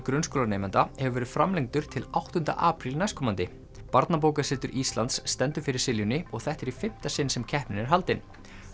grunnskólanemenda hefur verið framlengdur til áttunda apríl næstkomandi barnabókasetur Íslands stendur fyrir og þetta er í fimmta sinn sem keppnin er haldin